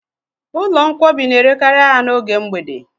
Ụlọ nkwọbi n'erekari ahịa n'oge mgbede